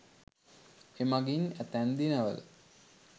එමඟින් ඇතැම් දිනවල